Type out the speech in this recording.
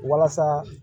Walasa